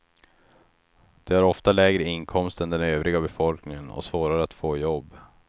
De har ofta lägre inkomst än den övriga befolkningen och svårare att få jobb.